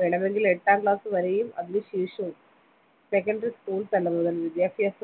വേണമെങ്കിൽ എട്ടാം ക്ലാസ് വരെയും അതിനുശേഷവും secondary school തലം മുതല വിദ്യാഭ്യാസ